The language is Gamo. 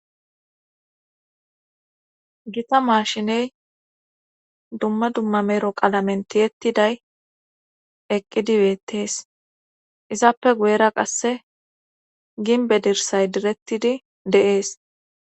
gita maashiney dumma dumma mero qalamen tiyettiday eqqidi beettees izappe guyera qasse ginbe dirsay direttidi deees